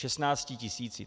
Šestnácti tisíci.